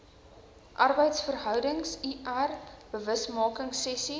arbeidsverhoudings lr bewusmakingsessies